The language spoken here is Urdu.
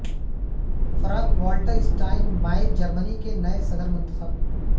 Franck Walter Steinmeier Germany کے نئے صدر منتخب